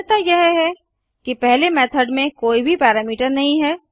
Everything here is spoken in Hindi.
भिन्नता यह है कि पहले मेथड में कोई भी पैरामीटर नहीं है